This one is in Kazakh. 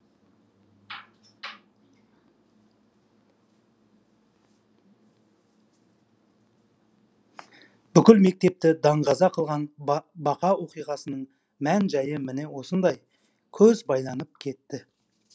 бүкіл мектепті даңғаза қылған бақа оқиғасының мән жайы міне осындай көз байланып кетті